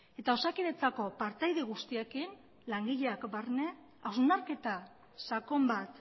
eta osakidetzako partaide guztiekin langileak barne hausnarketa sakon bat